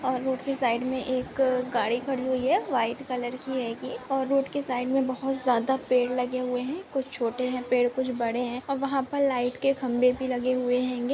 और रोड की साइड मैं एक गाड़ी खड़ी हुई है वाइट कलर की हैगी और रोड की साइड मैं बहुत ज्यादा पेड़ लगे हुए है कुछ छोटे है पेड़ कुछ बड़े है और वहां पर लाइट के खंबे भी लगे हुए हेंगे।